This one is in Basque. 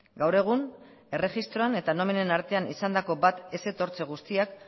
gaur egun erregistroan eta nominen artean izandako bat ez etortze guztiak